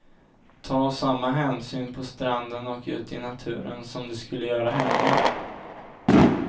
Ta samma hänsyn på stranden och ute i naturen som du skulle göra hemma.